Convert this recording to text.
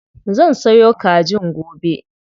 Zan sayo kajin gobe.